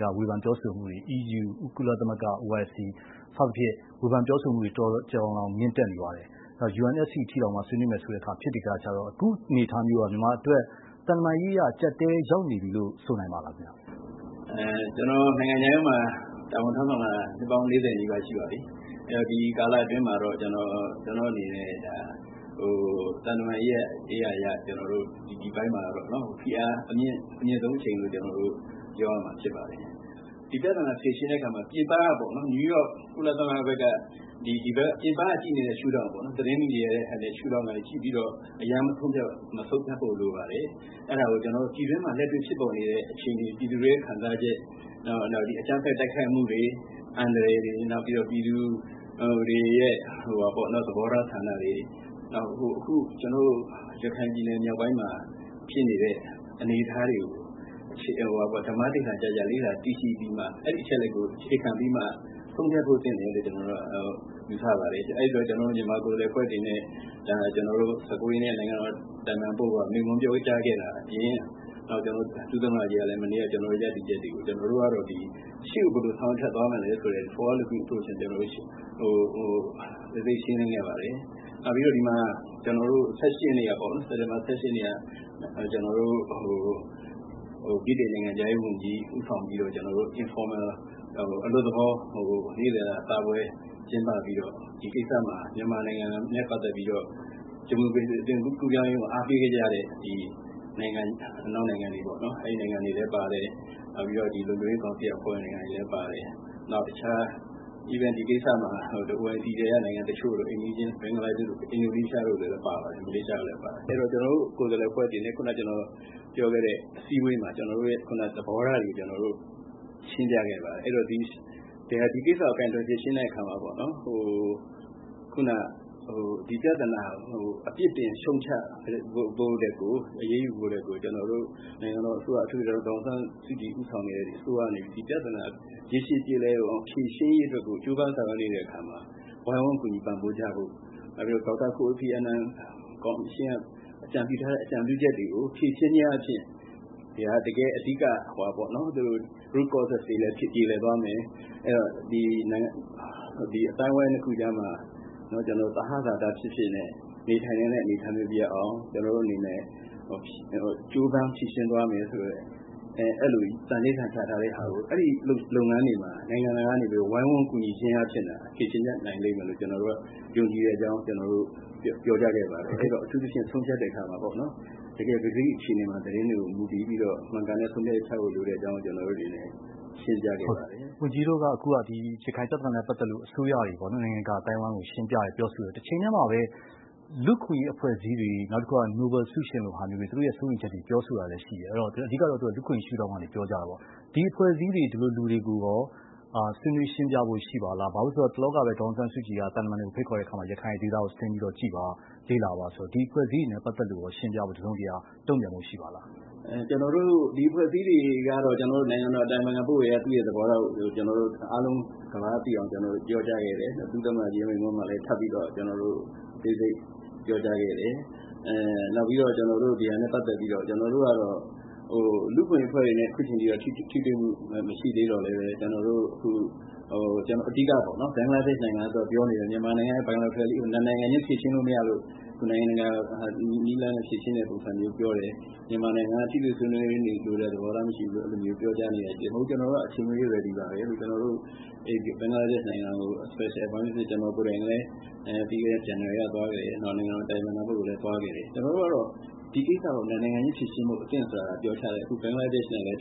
ကာဝေဖန်ပြောဆိုမှုတွေ EU ၊ ကုလသမဂ္ဂ၊ OIC စသဖြင့် ဝေဖန်ပြောဆိုမှုတွေ တော်တော်ကို ကျယ်ကျယ်လောင်လောင်မြင့်တက်နေပါတယ်။ နောက် UNSC အထိပါ ဆွေးနွေးမယ်ဆိုတဲ့အခါကျတော့ အခုအနေအထားမျိုးဟာ သံတမန်ရေးအရ အကျပ်အတည်း ရောက်နေပြီလို့ ဆိုနိုင်ပါလားခင်ဗျ။ ကျနော် နိုင်ငံခြားရေးမှာ တာဝန် ထမ်းဆောင်လာတာ နှစ်ပေါင်း ၄၀နီးပါးရှိပါပြီ။ အဲ့တော့ ဒီကာလအတွင်းမှာ ကျနော့်အနေနဲ့ သံတမန်ရေးအရ ဒီအပိုင်းမှာ ဖိအားအမြင့်ဆုံးအချိန်လို့ ကျနော်တို့ ပြောရမှာဖြစ်ပါတယ်။ ဒီပြသနာကို ဖြေရှင်းတဲ့နေရာမှာ ပြည်ပက နယူးယောက် ကုလသမဂ္ဂဘက်က ပြည်ပက ကြည့်နေတဲ့ရှု့ထောင့် သတင်းမီဒီယာက ကြည့်ပြီးတော့ အရမ်းမဆုံးဖြတ်ဖို့လိုပါတယ်။ အဲ့တာကို ပြည်တွင်းမှာ လက်တွေ့ဖြစ်ပေါ်နေတဲ့ အခြေအနေတွေ၊ ပြည်သူတွေ ခံစားနေရတဲ့ ခံစားချက်တွေ နောက် အကြမ်းဖက် တိုက်ခိုက်မှုတွေ အန္တရာယ်တွေ နောက်ပြည်သူတွေရဲ့ သဘောထားဆန္ဒတွေ နောက် အခု ကျနော်တို့ ရခိုင်ပြည်နယ်မြောက်ပိုင်းမှာဖြစ်နေတဲ့ အနေအထားတွေကို ဓမ္မဓိဌာန်ကျကျ လေ့လာသိရှိပြီးမှ အဲ့ဒီ့အချက်လက်ကို အခြေခံပြီးမှ ဆုံးဖြတ်ဖို့သင့်တယ် လို့ ကျနော်တို့က ယူဆပါတယ် အဲ့ဒီ့တော့ ကျနော်တို့ မြန်မာကိုယ်စားလှယ် အဖွဲ့အနေနဲ့ ၁၉ရက်နေ့က ကျနော်တို့ နိုင်ငံတော် အတိုင်ပင်ခံပုဂ္ဂိုလ်က မိန့်ခွန်းပြောကြားခဲ့တာအပြင် ဒုသမ္မတကြီးကလည်း ကျနော်တို့ရဲ့ရပ်တည်ချက်တွေကို ရှေ့ကို ဘယ်လိုဆောင်ရွက် ရှေဆက်သွားမလဲဆိုတာ အသေးစိတ်ရှင်းလင်းခဲ့ပါတယ်။ နောက်ပြီးတော့ စက်တင်ဘာ ၁၈ရက်နေ့က ဗြိတိန်နိုင်ငံခြားရေးဝန်ကြီး ဦးဆောင်ပြီးတော့ အလွတ်သဘောနေ့လည်စာစားပွဲ ကျင်းပပြီးတော့ ဒီကိစ္စမှာ မြန်မာနိုင်ငံနဲ့ပတ်သက်ပြီးတော့ ဒီမိုကရေစီအသွင်ကူးပြောင်းရေးကို အားပေးခဲ့ကြတဲ့ အနောက်နိုင်ငံတွေလည်းပါတယ် နောက်ပြီးတော့ လုံခြုံရေးကောင်စီက အဖွဲ့ဝင်နိုင်ငံတွေလည်းပါတယ် နောက် တခြား ဒီကိစ္စမှာ OIC ထဲက နိုင်ငံတချို့ အိမ်နီးချင်း ဘင်္ဂလားတို့ အင်ဒိုနီးရှားတို့ မလေးရှားတို့တွေလည်းပါပါတယ်။ အဲ့တော့ ကျနော်တို့ကိုယ်စားလှယ်အဖွဲ့တွေနဲ့ ခုနက ကျနော်ပြောခဲ့တဲ့ အစည်းအဝေးမှာ ကျနော်တို့ရဲ့သဘောထားတွေကို ရှင်းပြခဲ့ပါတယ်။ အဲ့တော့ ဒီကိစ္စကို ကိုင်တွယ်ဖြေရှင်းတဲ့နေရာမှာ ခုနက ဒီပြသနာကို အပြစ်တင်ရှုတ်ချ အရေးယူဖို့ထက်ကို နိုင်ငံတော်အစိုးရ အထူးသဖြင့် ဒေါ်အောင်ဆန်းစုကြည် ဦးဆောင်နေတဲ့ အစိုးရအနေနဲ့ ဒီပြသနာရေရှည်ပြေလည်အောင် ဖြေရှင်းရေးအတွက်ကို ကြိုးပမ်းဆောင်ရွက်နေတဲ့နေရာမှာ ဝိုင်းဝန်းကူညီပံ့ပိုးကြဖို့ နောက် ဒေါက်တာ ကိုဖီအာနန်ကော်မရှင် အကြံပြုထားတဲ့ အကြံပြုချက်တွေကို ဖြေရှင်းခြင်းအားဖြင့် အဓိကပြသနာတွေကို ပြေလည်အောင်ဖြေရှင်းသွားမယ်။ နောက် အသိုင်းအဝိုင်းနှစ်ခုကြားမှာ သဟဇာတဖြစ်ဖြစ်နဲ့ နေထိုင်နိုင်တဲ့အနေအထားမျိုးရအောင် ကျနော်တို့အနေနဲ့ ကြိုးပမ်းဖြေရှင်းသွားမယ်ဆိုတဲ့ အဲ့လို သန္နိဌာန်ချထားတဲ့လုပ်ငန်းတွေမှာ နိုင်ငံတကာအနေနဲ့ ဝိုင်းဝန်းကူညီဖြေရှင်းခြင်းအားြ့ဖင့်သာ ပြေလည်အောင်ဖြေရှင်းနိုင် လိမ့်မယ်လို့ ကျနော်တို့ ယုံကြည်တဲ့အကြောင်း ပြောကြားခဲ့ပါတယ်။ အထူးသဖြင့် ဆုံးဖြတ်တဲ့အခါမှာပေါ့နော် တကယ့်ပကတိအခြေအနေတွေကို သတင်းတွေက မူတည်ပြီးတော့ မှန်ကန်တဲ့ဆုံးဖြတ်ချက်တွေ ချဖို့လိုတဲ့အကြောင်း ကျနော်တို့တွေလည်း ရှင်းပြခဲ့ပါတယ်။ အဲ့တော့ ဝန်ကြီးတို့အနေနဲ့ ဒီပြသနာနဲ့ပတ်သက်ပြီးတော့ အစိုးရတွေပေါ့နော် နိုင်ငံတကာအသိုင်းအဝိုင်းကို ရှင်းပြတယ် ပြောဆိုတယ် တချိန်တည်းမှာပဲ လူ့အခွင့်အရေးအဖွဲ့အစည်းတွေ နောက်တခုက နိုဘယ်ဆုရှင်လို ဟာမျိုးတွေ သူတို့ရဲ့စိုးရိမ်ချက်တွေ ပြောဆိုတာတွေရှိတယ် အဓိကကတော့ လူ့အခွင့်အရေး ရှု့ထောင့်ကနေ ပြောကြာတာပေါ့ ဒီအဖွဲ့အစည်းတွေ ဒီလိုလူတွေကိုရော ဆွေးနွေးရှင်းပြဖို့ရှိပါသလား။ ဘာဖြစ်လို့လဲဆိုတော့ တလောကပဲ ဒေါ်အောင်ဆန်းစုကြည်က သံတမန်တွေကို ဖိတ်ခေါ်တဲ့အခါမှာ ရခိုင်ဒေသကို ဆင်းပြီးတော့ကြည့်ပါ လေ့လာပါဆိုတဲ့အခါကျတော့ ဒီအဖွဲ့အစည်းတွေနဲ့ပတ်သက်ပြီး ရှင်းပြဖို့ တစုံတရာတုန့်ပြန်ဖို့ရှိပါလား။ ကျနော်တို့ ဒီအဖွဲ့အစည်းတွေကတော့ နိုင်ငံတော်အတိုင်ပင်ခံပုဂ္ဂိုလ်က သူ့ရဲ့သဘောထားကို အားလုံး ကမ္ဘာက သိအောင်ပြောကြားခဲ့တယ်။ ဒုသမ္မတမိန့်ခွန်းမှာလည်း ထပ်ပြီးတော့ အသေးစိတ်ပြောကြား ခဲ့တယ်။ နောက်ပြီးတော့ ကျနော်တို့က ဒီဟာနဲ့ပတ်သက်ပြီးတော့ ကျနော်တို့ကတော့ လူ့အခွင့်အရေးအဖွဲ့တွေနဲ့ အခုချိန်အထိ ထိတွေ့မှု မရှိသေးသော်လည်း အဓိက ဘင်္ဂလားဒေ့ရှ်နိုင်ငံကပြောနေတဲ့ မြန်မာနိုင်ငံက နှစ်နိုင်ငံခြင်း ဖြေရှင်းလို့မရလို့ နိုင်ငံတကာနည်းလမ်းနဲ့ဖြေရှင်းတဲ့ပုံစံမျိုး ပြောတယ်။ မြန်မာနိုင်ငံဘက်က ထိတွေ့ဆွေးနွေးလိုတဲ့ သဘောထားမရှိဘူးလို့ပြောကြားနေတာရှိတယ်။ မဟုတ်ဘူး ကျနော်တို့က အချိန်မရွေး ရယ်ဒီပါပဲလို့။ ကျနော်တို့ ဘင်္ဂလားဒေ့ရှ်နိုင်ငံကို Special Envoy အဖြစ် ကျနော်ကိုယ်တိုင်လည်း ပြီးခဲ့တဲ့ဇန်နဝါရီက သွားခဲ့တယ်။ အမျိုးသားလုံခြုံရေးအကြံပေးပုဂ္ဂိုလ် လည်းသွားခဲ့တယ်။ ကျနော်တို့ကတော့ ဒီကိံစ္စကို နှစ်နိုင်ငံခြင်း ဖြေရှင်းဖို့ အသင့်ပါပဲ။ အခုဘင်္ဂလားဒေ့ရှ်နဲ့ လည်း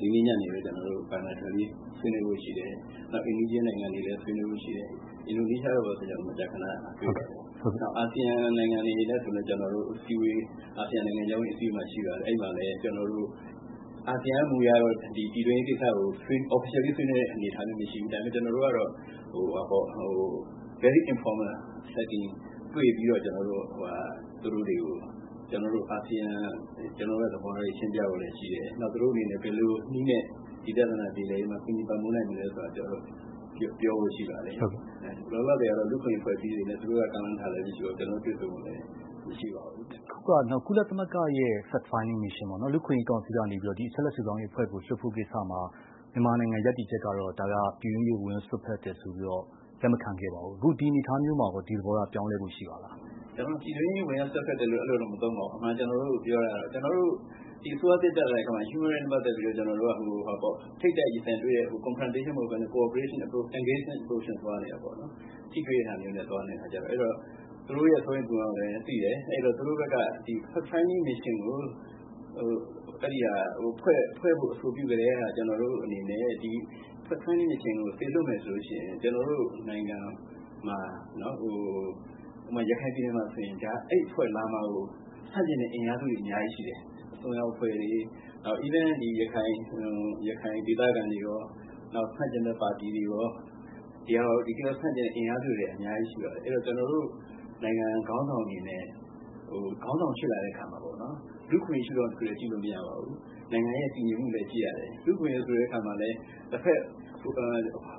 ဒီနေ့ညနေပဲ နှစ်နိုင်ငံချင်း ဆွေးနွေးဖို့ရှိတယ်။ နောက် အိမ်နီးချင်းနိုင်ငံတွေနဲ့လည်း ဆွေးနွေးဖို့ရှိတယ် အင်ဒိုနီးရှားတို့ ဘာတို့ဆိုလည်း မကြာခဏဆိုသလိုတွေ့ပါတယ်။ နောက် အာဆီယံနိုင်ငံတွေနဲ့ဆိုလည်း အာဆီယံနိုင်ငံခြားရေးဝန်ကြီးများ အစည်းအဝေးမှာ အဲ့ဒီ့မှာလည်း ကျနော်တို့ အာဆီယံရဲ့ မူအရ ပြည်တွင်းရေးကိစ္စကို တရားဝင်ဆွေးနွေးတာမျိုးတော့မရှိဘူး ဒါပေမဲ့ ကျနော်တို့ကတော့ informal meeting သဘောမျိုးတွေ့ပြီး သူတို့တွေကို ကျနော်တို့ရဲ့ သဘောထားတွေ ရှင်းပြဖို့လည်းရှိတယ် နောက် သူတို့အနေနဲ့ ဘယ်လိုနည်းနဲ့ ဒီပြသနာပြေလည်ရေးမှာ ဘယ်လိုပံ့ပိုးနိုင်မလဲဆိုတာ ကျနော်တို့ပြောဖို့ရှိပါတယ်။ လောလောဆယ်မှာတော့ လူ့အခွင့်အရေးအဖွဲ့အစည်းတွေနဲ့ကတော့ သူတို့က ကမ်းလှမ်းထားတာလည်းမရှိပါဘူး။ ကျနော်တို့က တွေ့ဆုံဖို့လည်း မရှိပါဘူး။ နောက်တခုက ကုလသမဂ္ဂရဲ့ Fact-Finding Mission ပေါ့နော် လူ့အခွင့်အရေးကောင်စီကနေပြီးတော့ အချက်အလက် စုဆောင်းရေးအဖွဲ့ကို လွှတ်ဖို့ကိစ္စမှာ မြန်မာနိုင်ငံရပ်တည်ချက်က ဒါဟာ ပြည်တွင်းရေးကို ဝင်ရောက် စွက်ဖက်တယ်ဆိုပြီးတော့ လက်မခံခဲ့ပါဘူး အခုဒီအနေအထားမျိုးမှာရော သဘောထားပြောင်းလဲဖို့ရှိပါသလား။ ကျနော်တို့ ပြည်တွင်းရေး ဝင်ရောက် စွက်ဖက်တယ်လို့တော့ ကျနော်တို့ မသုံးပါဘူး အမှန်ကျနော်တို့ပြောတာက ကျနော်တို့ ဒီအစိုးရတက်လာပြီးနောက်မှာ လူ့အခွင့်အရေးနဲ့ပတ်သက်ပြီးတော့ ထိပ်တိုက် ရင်ဆိုင်တွေ့တဲ့ Confrontation မဟုတ်ပဲနဲ့ Cooperation-Engagement approach နဲ့ သွားနေတာပေါ့နော်။ ထိတွေ့တဲ့ဟာမျိုးနဲ့သွားနေတာဆိုတော့ သူတို့ရဲ့စိုးရိမ်ပူပင်မှု ကိုလည်း သိတယ် အဲ့တော့ သူတို့ဘက်က Fact-Finding Mission ကို အဲ့ဒီ့ကဖွဲ့ဖို့ အဆိုပြုကတည်းက ကျနော်တို့အနေနဲ့ Fact-Finding Mission ကိုစေလွှတ်မယ် ဆိုလို့ရှိရင် ကျနော်တို့နိုင်ငံမှာ ဥပမာ ရခိုင်ပြည်နယ်မှာဆိုရင် အဲ့အဖွဲ့ လာမှာကို ဆန့်ကျင်တဲ့ အင်အားစုတွေ အများကြီးရှိတယ်။ အစွန်းရောက်အဖွဲ့တွေ နောက် ရခိုင်ဒေသခံတွေရော နောက် ဆန့်ကျင်မယ့်ပါတီတွေရော တကယ်ကို ဆန့်ကျင်မယ့် အင်အားစုတွေ အများကြီးရှိပါတယ်။ ကျနော်တို့ နိုင်ငံခေါင်းဆောင်တွေနဲ့ ခေါင်းဆောင်ဖြစ် လာတဲ့အခါမှာ လူ့အခွင့်အရေးရှု့ထောင့်တခုတည်းကပဲ ကြည့်လို့မရပါဘူး။ နိုင်ငံရဲ့တည်ငြိမ်မှု ကိုလည်း ကြည့်ရပါတယ်။ လူ့အခွင့်အရေးဆိုတဲ့အခါမှာလည်း တဖက်အ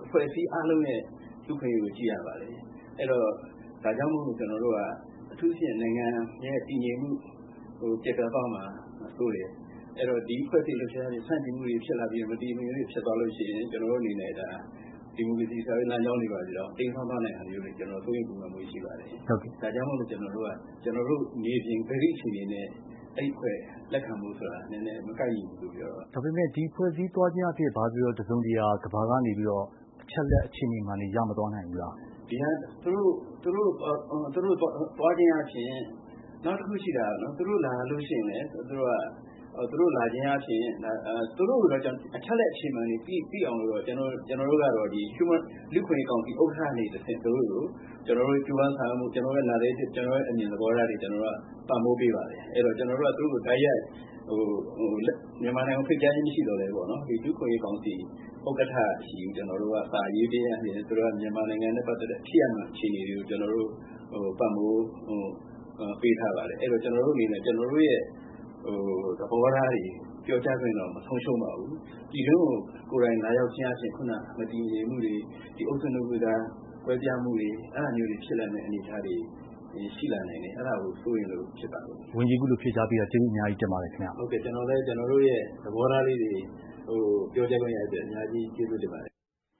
ဖွဲ့အစည်း အားလုံးရဲ့ လူ့အခွင့်အရေးကိုလည်း ကြည့်ရပါတယ်။ အဲ့တော့ ဒါကြောင့်မို့လို့ ကျနော်တို့က အထူးသဖြင့် နိုင်ငံရဲ့ တည်ငြိမ်မှု ပျက်ပြားသွားမှာစိုးတယ်။ အဲ့တော့ ဒီအဖွဲ့အစည်း လှုပ်ရှားမှုတွေ ကို ဆန့်ကျင်မှုတွေဖြစ်လာပြီး မတည်မငြိမ်မှုတွေဖြစ်သွားလို့ရှိရင် ကျနော်တို့တွေရဲ့ ဒီမိုကရေစီတည်ဆောက်ရေး လမ်းကြောင်းတွေ တိမ်းစောင်းသွားတာမျိုးတွေ စိုးရိမ်ပူပင်မှုရှိပါတယ်။ ဒါကြောင့်မို့လို့ ကျနော်တို့က မြေပြင်ပဂတိအခြေအနေနဲ့ အဲ့အဖွဲ့ကို လက်ခံဖို့ဆိုတာ မကိုက်ညီဘူးလို့ ပြောတာပါ။ ဟုတ်ကဲ့ ဒါပေမဲ့ ဒီအဖွဲ့အစည်းသွားခြင်းအားဖြင့် ဘာပဲပြောပြော ကမ္ဘာက တစုံတရာ အချက်အလက်အခြေအနေမှန်တွေ ရမသွားနိုင်ဘူးလား။ သူတို့သွားခြင်းအားဖြင့် နောက်တခုရှိတာက သူတို့လာလို့ရှိရင်လည်း သူတို့လာခြင်းအားဖြင့် သူတို့တွေ အချက်အလက်အခြေအနေမှန်တွေကို သိအောင်လို့ လူ့အခွင့်အရေးကောင်စီ ဥက္ကဋ္ဌဆီကို ကျနော်တို့ရဲ့ကြိုးပမ်းဆောင်ရွက်မှု ကျနော်တို့ရဲ့အမြင်သဘောထားတွေကို ပံ့ပိုးပေးပါတယ်။ အဲ့တော့ ကျနော်တို့က သူတို့ကို မြန်မာနိုင်ငံကို တိုက်ရိုက် ဖိတ်ကြားခြင်း မရှိသော်လည်းပဲ လူ့အခွင့်အရေးကောင်စီဥက္ကဋ္ဌဆီကို ကျနော်တို့က စာရေးပေးခြင်း အားဖြင့် သူတို့က မြန်မာနိုင်ငံနဲ့ပတ်သက်တဲ့ ဖြစ်ရပ်မှန်အခြေအနေတွေကို ပံ့ပိုးပေးထားပါတယ်။ အဲ့ဒီ့တော့ ကျနော်တို့အနေနဲ့ ကျနော်တို့ရဲ့သဘောထားတွေ ပြောကြားခွင့်တော့ မဆုံးရှုံးပါဘူး။ ပြည်တွင်းကို ကိုယ်တိုင်လာရောက်ခြင်းအားဖြင့် ခုနက မတည်ငြိမ်မှုတွေ ဒီအုပ်စုနှစ်ခုအကြား ကွဲပြားမှုတွေ အဲ့တာမျိုးတွေဖြစ်လာနိုင်တဲ့ အနေအထားမျိုးတွေ ရှိလာနိုင်တယ်။ အဲ့တာကို စိုးရိမ်လို့ဖြစ်ပါတယ်။ ဝန်ကြီး အခုလိုဖြေကြားပေးတာ ကျေးဇူးအများကြီးတင်ပါတယ်ခင်ဗျ။ ဟုတ်ကဲ့ ကျနော်တို့ကလည်း ကျနော်တို့ရဲ့သဘောထားလေးတွေ ပြောကြားခွင့်ရတဲ့အတွက် အများကြီးကျေးဇူးတင်ပါတယ်။